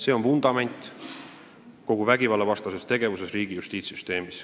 See on riigi justiitssüsteemi kogu vägivallavastase tegevuse vundament.